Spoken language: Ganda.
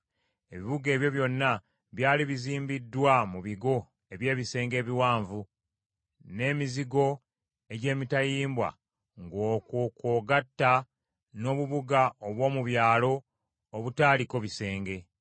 Ebibuga ebyo byonna byali bizimbiddwa mu bigo eby’ebisenge ebiwanvu, n’emizigo egy’emitayimbwa, ng’okwo kw’ogatta n’obubuga obw’omu byalo obutaaliko bisenge.